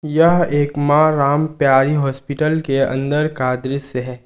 यह एक मां राम प्यारी हॉस्पिटल के अंदर का दृश्य है।